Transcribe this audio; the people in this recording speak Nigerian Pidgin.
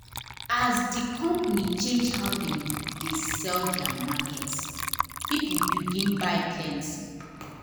as the company change how dem dey sell their market people begin buy plenty.